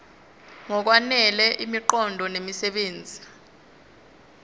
ngokwanele imiqondo nemisebenzi